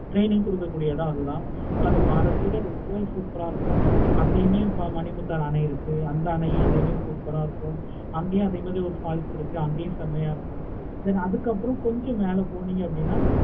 training கொடுக்க கூடிய இடம் அது தான் super ஆஹ் இருக்கும். அங்கயுமே இப்போ மணிமுத்தாறு ஆணை இருக்கு. அந்த ஆணையும் super ஆஹ் இருக்கும். அங்கையு அதே மாதிரி ஒரு falls இருக்கு. அங்கேயும் அதே மாதிரி ஒரு falls இருக்கு. அங்கையும் செம்மையை இருக்கும். then அதுக்கு அப்பறம் கொஞ்சம் மேல போனீங்கன்னா